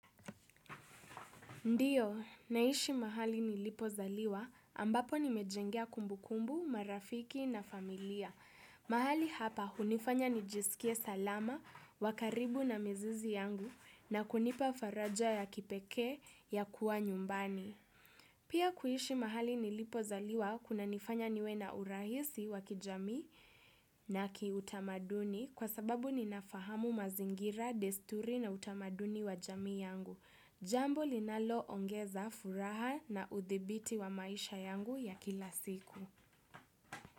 Ndiyo, naishi mahali nilipozaliwa ambapo nimejengea kumbukumbu, marafiki na familia. Mahali hapa hunifanya nijisikie salama, wa karibu na mizizi yangu na kunipa faraja ya kipekee ya kuwa nyumbani. Pia kuishi mahali nilipozaliwa kunanifanya niwe na urahisi wa kijamii na kiutamaduni kwa sababu ninafahamu mazingira, desturi na utamaduni wa jamii yangu. Jambo linaloongeza furaha na udhibiti wa maisha yangu ya kila siku.